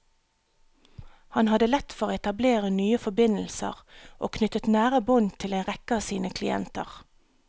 Han hadde lett for å etablere nye forbindelser, og knyttet nære bånd til en rekke av sine klienter.